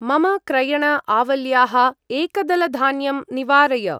मम क्रयण-आवल्याः एकदलधान्यं निवारय।